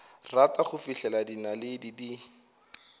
rata go fihlela dinaledi di